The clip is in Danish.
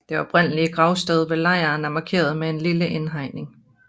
Det oprindelige gravsted ved lejren er markeret med en lille indhegning